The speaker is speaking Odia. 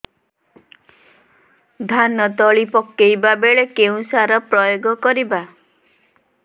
ଧାନ ତଳି ପକାଇବା ବେଳେ କେଉଁ ସାର ପ୍ରୟୋଗ କରିବା